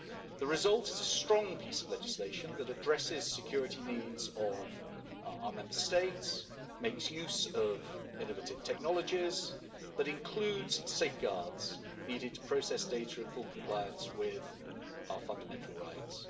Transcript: The result is a strong piece of legislation that addresses security needs of our Member States, makes use of innovative technologies, but includes safeguards needed to process data in full compliance with our fundamental rights.